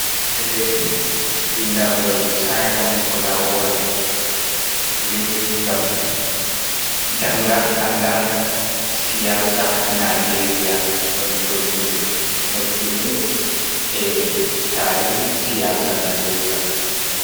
Deftre vindangol simon colawole, windi ngam janga anda siyasa Nijeria, no ɗum doggindir e tarihi siyasa Nijeria.